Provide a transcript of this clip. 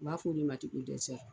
U b'a fɔ o de ma dɛsɛri